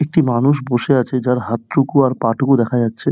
একটি মানুষ বসে আছে যার হাতটুকু র পাটুকু দেখা যাছে ।